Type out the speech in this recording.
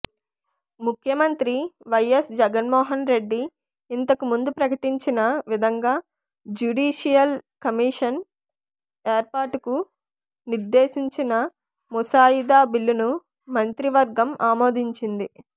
ముఖ్యమంత్రి వైఎస్ జగన్మోహన్రెడ్డి ఇంతకు ముందు ప్రకటించిన విధంగా జ్యుడీషియల్ కమిషన్ ఏర్పాటుకు నిర్దేశించిన ముసాయిదా బిల్లును మంత్రివర్గం ఆమోదించింది